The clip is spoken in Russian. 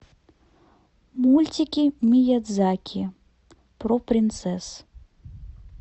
мультики миядзаки про принцесс